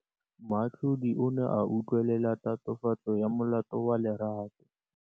Moatlhodi o ne a utlwelela tatofatsô ya molato wa Lerato.